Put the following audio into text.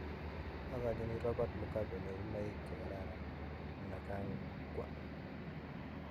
agachinii Robert Mugabe nyorunoik chegararan : Mnangagwa